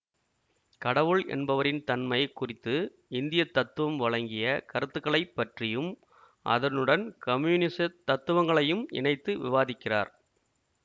கடவுள் என்பவரின் தன்மை குறித்து இந்திய தத்துவம் வழங்கிய கருத்துக்களைப் பற்றியும் அதனுடன் கம்யூனிசத் தத்துவங்களையும் இணைத்து விவாதிக்கிறார்